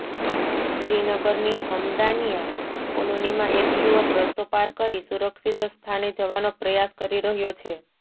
શ્રીનગરની હમ્દાનિયા કોલોનીમાં એક યુવક રસ્તો પાર કરી સુરક્ષિત સ્થાને જવાનો પ્રયાસ કરી રહ્યો છે